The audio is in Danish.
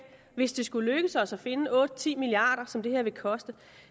hvis det skulle lykkes os at finde otte ti milliard kr som det her vil koste